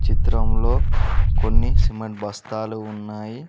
చిత్రం లో కొన్ని సిమెంట్ బస్తాలు ఉన్నాయి.